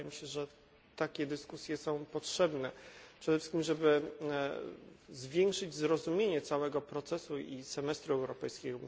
Wydaje mi się, że takie dyskusje są potrzebne, przede wszystkim żeby zwiększyć zrozumienie całego procesu i semestru europejskiego.